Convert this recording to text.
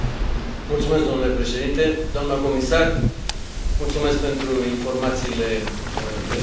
Domnule președinte, doamnă comisar, mulțumesc pentru informațiile prezentate.